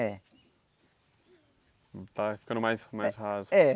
É. Está ficando mais mais raso. É